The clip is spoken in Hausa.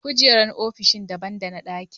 Kujerun ofisoshi daban dana ɗakuna.